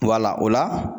Wala o la